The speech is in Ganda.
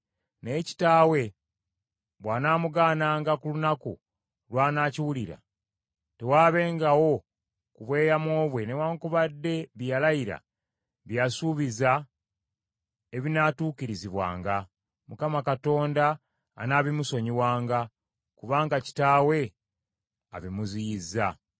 Naye kitaawe bw’anaamugaananga ku lunaku lw’anaakiwulira, tewaabengawo ku bweyamo bwe newaakubadde bye yalayira bye yasuubiza ebinaatuukirizibwanga, Mukama Katonda anaabimusonyiwanga, kubanga kitaawe abimuziyizza.